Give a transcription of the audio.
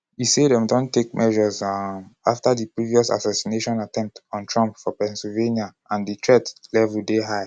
e say dem bin don take measures um afta di previous assassination attempt on trump for pennsylvania and "di threat level dey high".